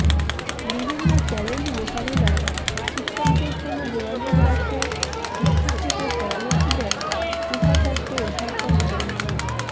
বিভিন্ন চ্যালেঞ্জ মোকাবেলায় শিক্ষকদের সঙ্গে যোগাযোগ রাখতে শিক্ষার্থীদের পরামর্শ দেন উপাচার্য অধ্যাপক ড